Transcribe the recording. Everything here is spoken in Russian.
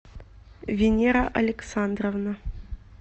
венера александровна